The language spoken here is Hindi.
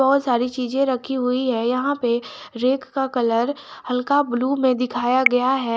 बहुत सारी चीजें रखी हुई है यहां पे रैक का कलर हल्का ब्लू में दिखाया गया है।